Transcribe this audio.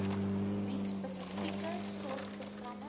bied spesifieke sorgprogramme